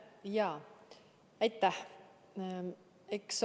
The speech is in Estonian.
Jaa, aitäh!